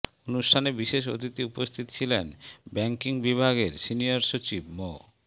অনুষ্ঠানে বিশেষ অতিথি উপস্থিত ছিলেন ব্যাংকিং বিভাগের সিনিয়র সচিব মো